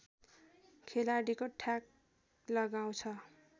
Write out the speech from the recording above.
खेलाडीले ठ्याक लगाउँछ